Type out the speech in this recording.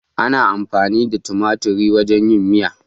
Ana amfani da tumatir wajen yin miya.